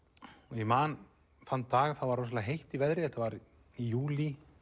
ég man þann dag þá var rosalega heitt í veðri þetta var í júlí